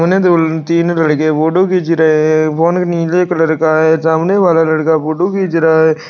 तीन लड़के फोटो खींच रहे हैं फोन नीले कलर का है सामने वाला लड़का फोटो खींच रहा है।